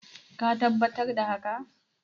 ka tabbatar da haka?